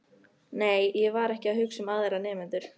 Nei, ég var ekki að hugsa um aðra nemendur.